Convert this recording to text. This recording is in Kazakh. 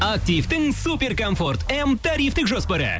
активтің супер комфорт м тарифтік жоспары